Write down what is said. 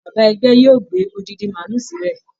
Bàbá ẹgbẹ́ yóò gbé odidi màálù sílẹ̀